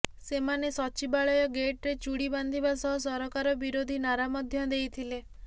ସେମାନେ ସଚିବାଳୟ ଗେଟ୍ରେ ଚୁଡ଼ି ବାନ୍ଧିବା ସହ ସରକାର ବିରୋଧୀ ନାରା ମଧ୍ୟ ଦେଇଥିଲେ